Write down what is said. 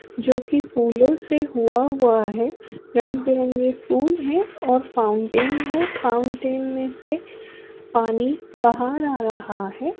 जोकि फुलो से हुआ हुआ है। रंग बिरंग फुल हैं और फाउंटेन है। फाउंटेन में पानी बाहर आ रह है।